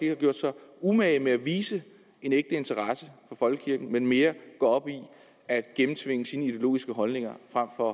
har gjort sig umage med at vise en ægte interesse for folkekirken men mere går op i at gennemtvinge sine ideologiske holdninger frem for at